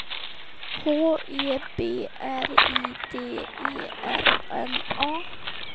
H E B R I D E R N A